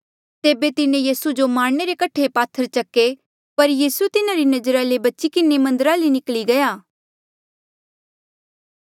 तेबे तिन्हें यीसू जो मारणे रे कठे पात्थर चके पर यीसू तिन्हारी नजरा ले बची किन्हें मन्दरा ले निकली गया